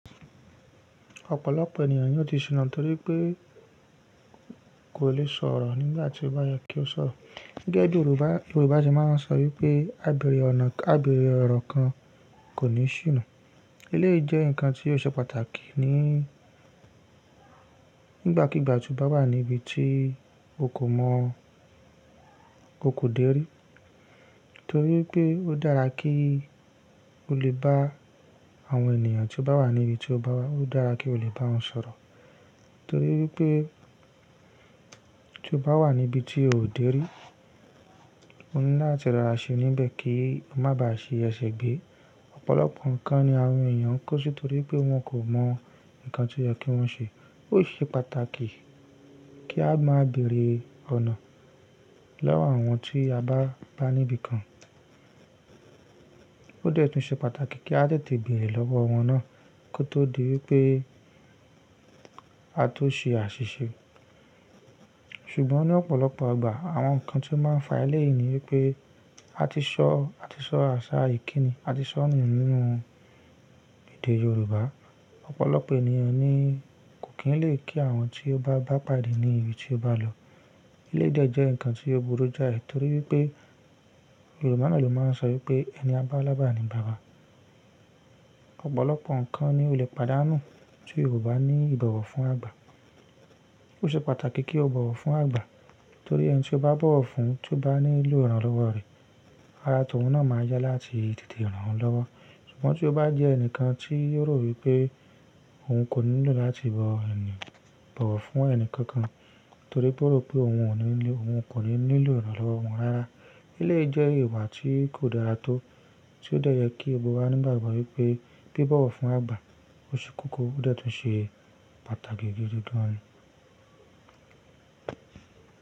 Ọ̀pọ̀lọpọ̀ ènìyàn ni ó ti ṣìnà nítorí pé kò le sọ̀rọ̀ nígbà tí ó bá yẹ kí ó sọ̀rọ̀. Gẹ́gẹ́ bí Yorùbá, Yorùbá ti máa ń sọ wípé “ábèrè ọ̀nà-- á bèrè ọ̀rọ̀ kan kò ní ṣìnà”. Eléyìí jẹ́ ǹkan tí ó ṣe pàtàkì ní-- nígbàkígbà tí ó bá wà ní ibi tí o kò mọ̀, o kò dèrí. Nítorí pé ó dára kí o lè bá àwọn ènìyàn tí o bá wà ní ibi tí o bá wà. Ó dára kí o lè bá wọn sọ̀rọ̀. Nítorí wípé tí o bá wà ní ibi tí o ò dèrí, ó ní láti rọra ṣe níbẹ̀ kí o má ba à ṣi ẹṣẹ̀ gbé. Ọ̀pọ̀lọpọ̀ ǹkan ni àwọn ènìyàn ń ksi nítorí pé wọ́n kò mọ̀ ǹkan tí oyẹ kí wọ́n ṣe. Ó ṣe pàtàkì kí a máa bèrè ọ̀nà lọ́wọ́ àwọn tí a bá bá níbi kan. Ó dẹ́ẹ̀ tún ṣe pàtàkì kí a tètè bèrè lọ́wọ́ wọn náà kí ó tó di wípé a tó ṣe àṣìṣe. Ṣùgbọ́n ní ọ̀pọ̀lọpọ̀ ìgbà àwọn ǹkan tí ó máa ń fa eléyìí ni wípé a ti ṣọ́, a ti ṣọ́ àṣà ìkíni, a ti ṣọ́nu nínú èdè Yorùbá. Ọ̀pọ̀lọpọ̀ ènìyàn ni kò kí ń lè kí àwọn tí ó bá bá pàdé ní ibi tí ó bá lọ. Eléyìí de jẹ́ ǹkan tí ó burú jáì, torí wípé Yorùbá náà ló máa ń sọ wípé “ẹni á bá lábà ni baba”. Ọ̀pọ̀lọpọ̀ ǹkan ni ó lè pàdánù tí o ba ní ìbọ̀wọ̀ fún àgbà. Ó ṣe pàtàkì kí o bọ̀wọ̀ fún àgbà, torí ẹni tí o bá bọ̀wọ̀ fún, tí ó bá ní lo ìrànlọ́wọ́ rẹ̀, ara tọ̀ún náà máa yá láti tètè ràn án lọ́wọ́. Ṣùgbọ́n tí o bá jẹ́ ẹnìkan tí yóò rò wípé òun kò nílò láti bọ ẹni, bọ̀wọ̀ fún ẹni kankan, torí pé ó rò pé òun ò ní ní-- òun kò ní nílò ìrànlọ́wọ́ wọn rara, eléyìí jẹ́ ìwà tí kò dára tó. Tió de yẹ kí gbogbo wa ní ìgbàgbọ́ wípé bí bọ̀wọ̀ fún àgbà ṣe kókó ó dẹ́ẹ̀ tún ṣe pàtàkì gidi gan ni.